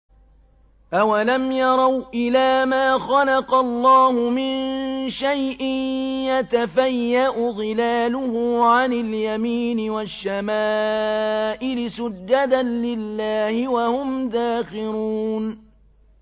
أَوَلَمْ يَرَوْا إِلَىٰ مَا خَلَقَ اللَّهُ مِن شَيْءٍ يَتَفَيَّأُ ظِلَالُهُ عَنِ الْيَمِينِ وَالشَّمَائِلِ سُجَّدًا لِّلَّهِ وَهُمْ دَاخِرُونَ